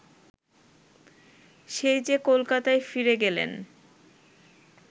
সেই যে কলকাতায় ফিরে গেলেন